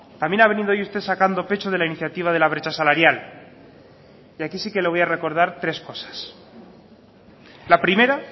también ha venido hoy usted sacando pecho de la iniciativa de la brecha salarial y aquí sí que le voy a recordar tres cosas la primera